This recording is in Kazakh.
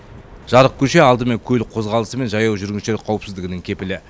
жарық көше алдымен көлік қозғалысы мен жаяу жүргіншілер қауіпсіздігінің кепілі